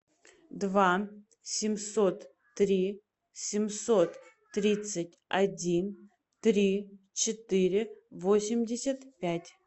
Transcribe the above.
два семьсот три семьсот тридцать один три четыре восемьдесят пять